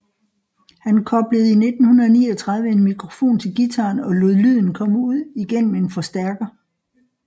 Han koblede i 1939 en mikrofon til guitaren og lod lyden komme ud igennem en forstærker